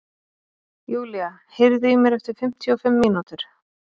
Julia, heyrðu í mér eftir fimmtíu og fimm mínútur.